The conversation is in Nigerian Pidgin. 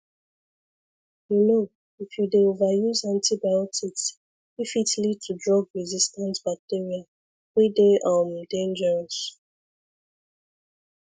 you know if you dey over use antibiotics e fit lead to drugresistant bacteria wey dey um dangerous